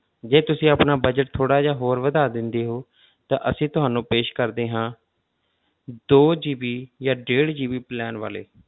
ਜੇ ਤੁਸੀਂ ਆਪਣਾ budget ਥੋੜ੍ਹਾ ਜਿਹਾ ਹੋਰ ਵਧਾ ਦਿੰਦੇ ਹੋ ਤਾਂ ਅਸੀਂ ਤੁਹਾਨੂੰ ਪੇਸ਼ ਕਰਦੇ ਹਾਂ ਦੋ GB ਜਾਂ ਡੇਢ GB plan ਵਾਲੇ,